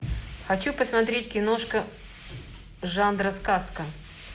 хочу посмотреть киношка жанра сказка